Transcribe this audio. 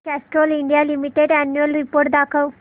Castrol India limited annual report दाखव